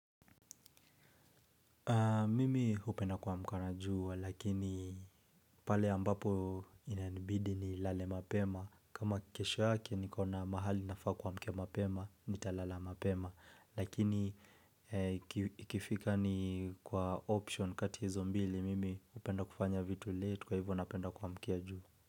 Mimi hupenda kuamka na jua, lakini pale ambapo inanibidi nilale mapema kama kesho yake niko na mahali nafaa kuamkia mapema, nitalala mapema Lakini ikifika ni kwa option kati ya hizo mbili, mimi hupenda kufanya vitu late kwa hivyo napenda kuamkia jua.